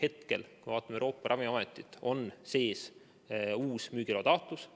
Hetkel on Euroopa Ravimiametis sees uus müügiloa taotlus.